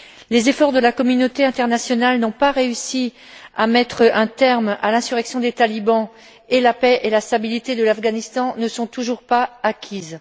Les efforts de la communauté internationale n'ont pas réussi à mettre un terme à l'insurrection des talibans et la paix et la stabilité de l'Afghanistan ne sont toujours pas acquises.